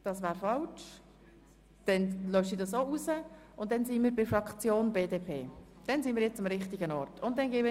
Die SP-JUSO-PSA hat ihr Fraktionsvotum bereits abgegeben.